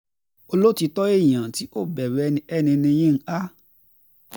olótìtọ́ èèyàn tí kò tí kò bẹ̀rù ẹnikẹ́ni ni yinka